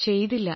ചെയ്തില്ല